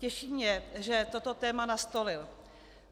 Těší mě, že toto téma nastolil.